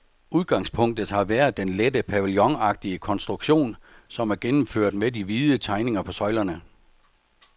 Udgangspunktet har været den lette pavillonagtige konstruktion, som er gennemført med de hvide tegninger på søjlerne.